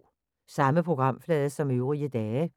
Samme programflade som øvrige dage